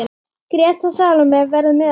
Greta Salóme verður með okkur.